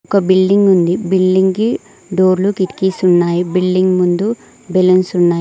ఒక బిల్డింగ్ ఉంది బిల్డింగ్ కి డోర్లు కిటికీస్ ఉన్నాయి బిల్డింగ్ ముందు బెలూన్స్ ఉన్నాయ్.